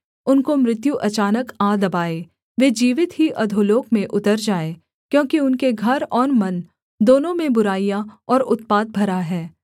उनको मृत्यु अचानक आ दबाए वे जीवित ही अधोलोक में उतर जाएँ क्योंकि उनके घर और मन दोनों में बुराइयाँ और उत्पात भरा है